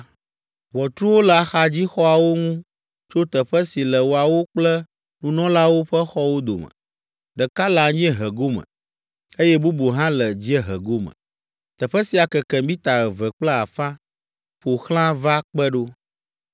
Ʋɔtruwo le axadzixɔawo ŋu tso teƒe si le woawo kple nunɔlawo ƒe xɔwo dome, ɖeka le anyiehe gome, eye bubu hã le dziehe gome. Teƒe sia keke mita eve kple afã ƒo xlã va kpe ɖo.